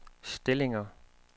stillinger